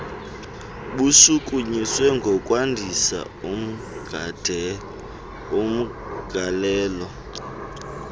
bushukunyiswe ngokwandisa umgalelo